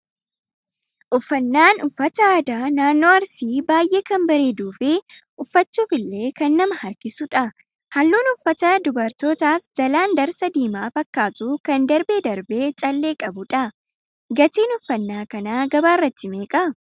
Uffannaan uffata aadaa naannoo Arsii baay'ee kan bareeduu fi uffachuuf illee kan nama harkisudha. Halluun uffata dubarootaas jalaan darsa diimaa fakkaatu kan darbee darbee callee qabudha. Gatiin uffannaa kanaa gabaarratti meeqa?